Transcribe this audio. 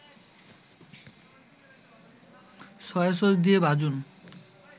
soy sauce দিয়ে ভাজুন